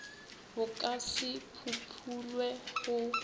bo ka se phumulwe go